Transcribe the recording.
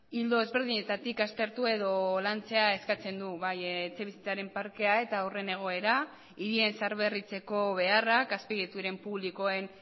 ildo ezberdinetatik aztertu edo lantzea eskatzen du bai etxebizitzaren parkea eta horren egoera hirien zaharberritzeko beharrak azpiegituren publikoen